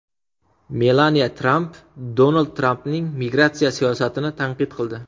Melaniya Tramp Donald Trampning migratsiya siyosatini tanqid qildi.